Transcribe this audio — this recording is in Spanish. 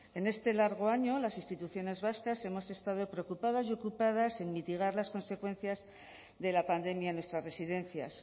en este largo año las instituciones vascas hemos estado preocupadas y ocupadas en mitigar las consecuencias de la pandemia en nuestras residencias